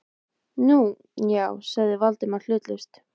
Nú, já- sagði Valdimar hlutlaust.